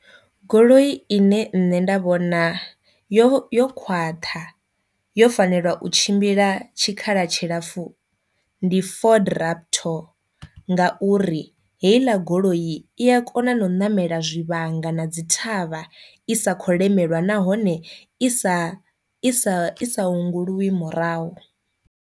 Goloi ine nṋe nda vhona yo yo khwaṱha yo fanelwa u tshimbila tshikhala tshilapfhu ndi Ford Raptor, nga u uri heila goloi i a kona na u namela zwivhanga na dzi thavha i sa kho lemelwa nahone i sa i sa isa unguliwi murahu.